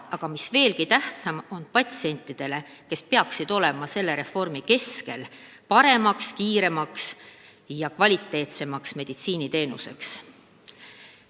Aga mis veelgi tähtsam: patsientidele peaks see tagama kiirema ja kvaliteetsema meditsiiniteenuse.